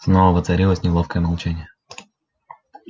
снова воцарилось неловкое молчание